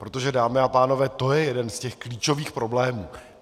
Protože, dámy a pánové, to je jeden z těch klíčových problémů.